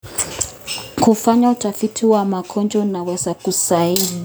Kufanya utafiti wa magonjwa kunaweza kusaidia katika kupata suluhu.